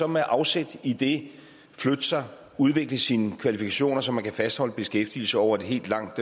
med afsæt i det flytte sig og udvikle sine kvalifikationer så man kan fastholde beskæftigelse over et helt langt